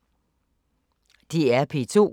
DR P2